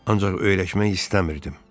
Ancaq öyrəşmək istəmirdim.